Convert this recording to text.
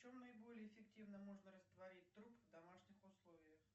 в чем наиболее эффективно можно растворить труп в домашних условиях